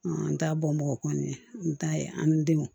an t'a bɔn bɔni n t'a ye an ni denw